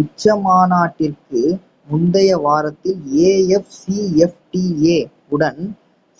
உச்சிமாநாட்டிற்கு முந்தைய வாரத்தில் afcfta வுடன்